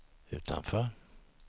utanför